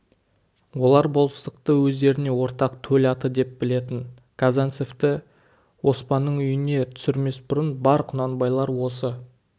олар болыстықты өздеріне ортақ төл аты деп білетін казанцевті оспанның үйіне түсірмес бұрын бар құнанбайлар осы